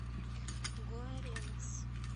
гуаренас